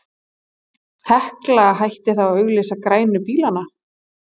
Hekla hætti þá að auglýsa grænu bílana.